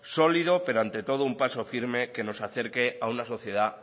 sólido pero ante todo un paso firme que nos acerque a una sociedad